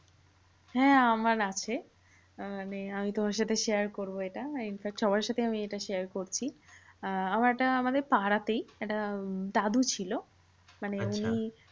হ্যাঁ আমার আছে। আহ মানে আমি তোমার সাথে share করবো এটা। in fact সবার সাথে এটা share করছি। আহ আমার একটা আমাদের পাড়াতেই একটা উম দাদু ছিল মানে উনি